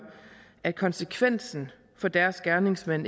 at konsekvenser for deres gerningsmand